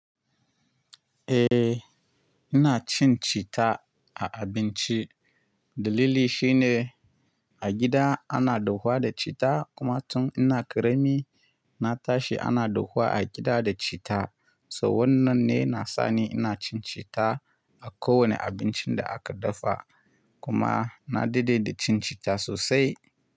Eh ina cin cita a abinci. Dalili shine a gida ana dahuwa da cita kuma tun ina ƙarami na tashi ana dahuwa a gida da cita. So wannan ne na sa ni ina cin cita a kowane abincin da aka dafa kuma na daɗe da cin cita sosai.